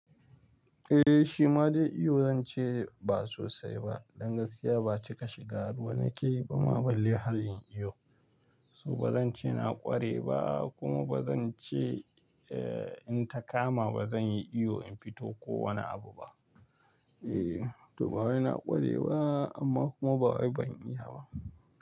Eh shi ma dai iyo, zan ce ba sosai ba. Dan gaskiya ba cika shiga ruwa nake yi ba ma ban yi halin iyo. So ba zan ce na ƙware ba kuma ba zan ce eh in ta kama ba zan yi iyo in fito ko wane abu ba. Eh to ba wai na ƙware ba amma kuma ba wai ban iya ba.